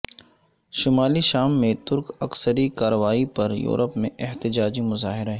شمالی شام میں ترک عسکری کارروائی پر یورپ میں احتجاجی مظاہرے